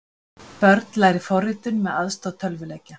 Börn læri forritun með aðstoð tölvuleikja